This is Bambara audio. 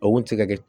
A kun tɛ se ka kɛ